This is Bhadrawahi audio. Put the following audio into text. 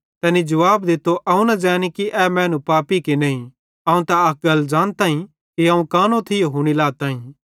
तैनी जुवाब दित्तो अवं न ज़ैनी कि ए पापी कि नईं अवं अक गल ज़ानताईं कि अवं कानो थियो हुनी लाताईं